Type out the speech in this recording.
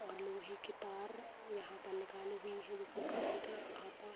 और लोहे की तार यहाँ पर निकाली हुई हैं। जिसमें कर्रेंट आता --